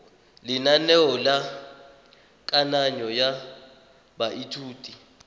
lenaneo la kananyo ya baithuti